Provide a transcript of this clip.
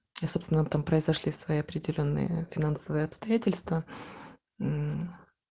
и собственно там произошли свои определённые финансовые обстоятельства мм